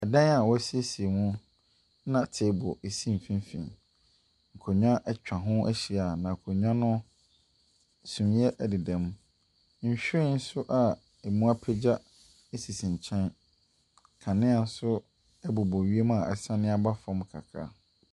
Dan a wɔasiesie mu na table si mfinimfini. Akonnwa atwa ho ahyia. Na akonnwa no, sumiiɛ deda mu. Nhwiren nso a ɛmu apegya sisi nkyɛn. Nkanea nso bobɔ wiem a asane aba fam kakra.